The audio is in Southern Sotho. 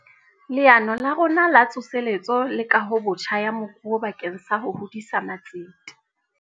Leano la rona La Tsoseletso le Kahobotjha ya Moruo bakeng sa ho hodisa matsete.